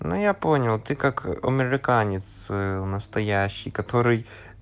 ну я понял ты как американец настоящий который